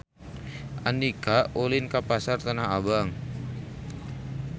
Andika ulin ka Pasar Tanah Abang